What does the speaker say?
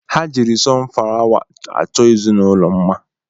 Ha jiri sunfawa achọ ezinụlọ mma